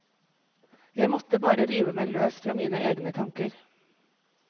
Jeg måtte bare rive meg løs fra mine egne tanker.